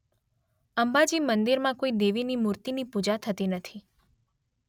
અંબાજી મંદિરમાં કોઇ દેવીની મૂર્તિની પૂજા થતી નથી.